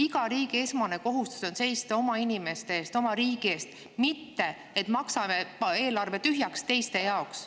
Iga riigi esmane kohustus on seista oma inimeste eest, oma riigi eest, mitte maksta eelarve tühjaks teiste jaoks.